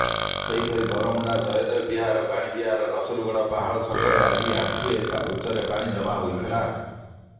ସେହିପରି ବରମୁଣ୍ଡା ଜୟଦେବ ବିହାର ବାଣୀବିହାର ରସୁଲଗଡ଼ ପାହାଳ ଛକରେ ଆଜି ଆଣ୍ଠୁଏ ଉଚ୍ଚରେ ପାଣି ଜମା ହୋଇଥିଲା